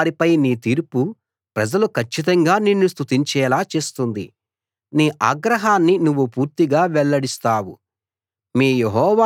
కోపంతో వారిపై నీ తీర్పు ప్రజలు కచ్చితంగా నిన్ను స్తుతించేలా చేస్తుంది నీ ఆగ్రహాన్ని నువ్వు పూర్తిగా వెల్లడిస్తావు